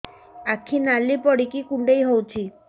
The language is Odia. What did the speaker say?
ଆଖି ନାଲି ପଡିକି କୁଣ୍ଡେଇ ହଉଛି